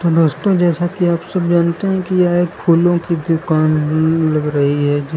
दोस्तो जैसा कि आप सब जानते है कि यह एक फूलों की दुकान ल लग रहीं है जीस--